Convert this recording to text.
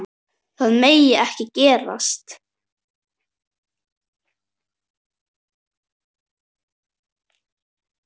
Það megi ekki gerast.